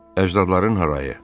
Əcdadların harayı.